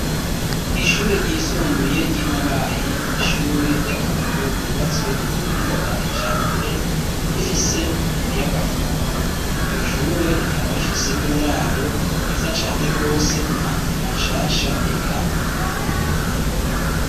Ishure ryisumbuye, ry'i Mabayi, ni ishure ry'akarorero, ryubatswe ku buhinga bwa kijambere, rifise umuyagankuba; iryo shure, rikaba rifise n'uburaro, bwiza cane rwose, imatera nshasha, eka ntiworaba.